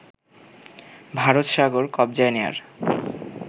ভারতসাগর কবজায় নেয়ার